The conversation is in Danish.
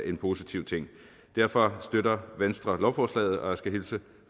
en positiv ting derfor støtter venstre lovforslaget og jeg skal hilse